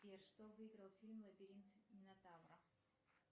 сбер что выиграл фильм лабиринт минотавра